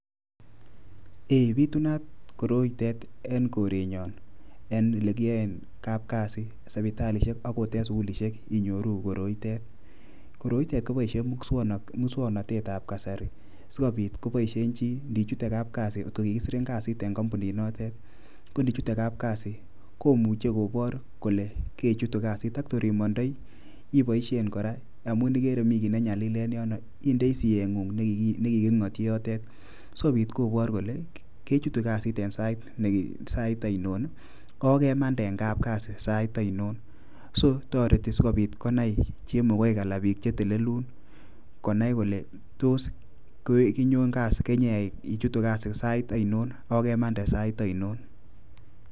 eeh , bitunat koroite eng korenyo en legiyae kapkasit sibitalishek angot eng sugulishek inyoruu koroitet, koroitet kibaishe mukswanatet ab kasari sigobiit kobaishe chii ngi chutee kapkazi , kot kikisir kasit eng kambunit notete, kot ngichute kapkazi komuchi kobar kole kechutu kasit kotir emandai ibashen koraa amu igeree mii gii ne nyalil en yonon indai siyegun neginyati yotete sigobiit kobaar kolee kechutu kasit eng sait ainon ak kemande eng kapkasit sait ainon [cs[]so tariti sogobit konai chemogaik ana biik che telelun konai kolee tos kenyon kasi keny ichutun kasit sait ainon ago kemande sait ainon